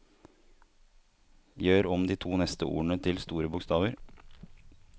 Gjør om de to neste ordene til store bokstaver